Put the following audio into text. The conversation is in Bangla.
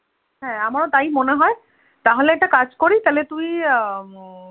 হ্যাঁ আমারও তাই মনে হয়, তাহলে একটা কাজ করি তাহলে তুই আহ